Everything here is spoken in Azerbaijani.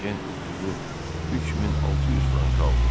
Ejen udduğu 3600 frankı aldı.